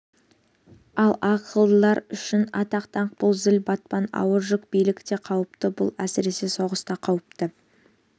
ал ақылдылар үшін атақ-даңқ бұл зіл батпан ауыр жүк билік те қауіпті бұл әсіресе соғыста қауіпті